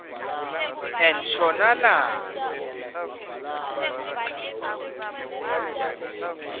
enshonalanga